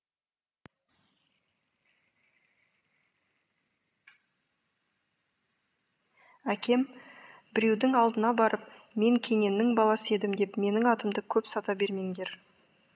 әкем біреудің алдына барып мен кененнің баласы едім деп менің атымды көп сата бермеңдер